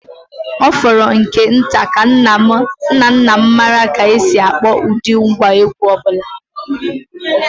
Ọ fọrọ nke nta ka nna nna m maara ka e si akpọ ụdị ngwá egwú ọ bụla.